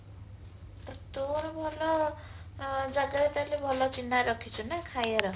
ତୋର ଭଲ ଜାଗାରେ ତାରେ ଭଲ ଚିହ୍ନା ରଖିଛୁ ନା ଖାଇବାର